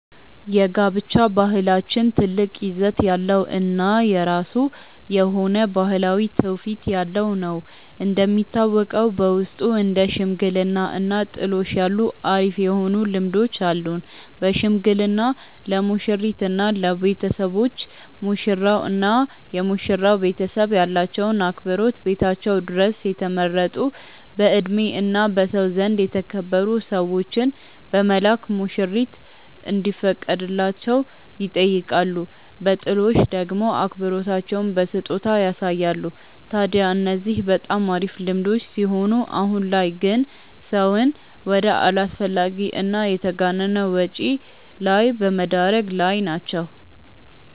የጋብቻ ባህላችን ትልቅ ይዘት ያለው እና የራሱ የሆነ ባህላዊ ትውፊት ያለው ነው። እንደሚታወቀው በውስጡ እንደ ሽምግልና እና ጥሎሽ ያሉ አሪፍ የሆኑ ልምዶች አሉን። በሽምግልና ለሙሽሪት እና ለቤተሰቦች፤ ሙሽራው እና የመሽራው ቤተሰብ ያላቸውን አክብሮት ቤታቸው ድረስ የተመረጡ በእድሜ እና በሰው ዘንድ የተከበሩ ሰዎችን በመላክ ሙሽሪት እንዲፈቀድላቸው ይጠይቃሉ። በጥሎሽ ደሞ አክብሮታቸውን በስጦታ ያሳያሉ። ታድያ እነዚህ በጣም አሪፍ ልምዶች ሲሆኑ አሁን ላይ ግን ሰውን ወደ አላስፈላጊ እና የተጋነነ ወጪ ላይ በመደረግ ላይ ናቸው።